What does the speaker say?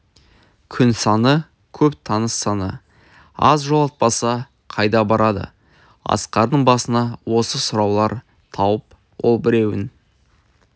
күн саны көп таныс саны аз жолатпаса қайда барады асқардың басына осы сұраулар туып ол біреуін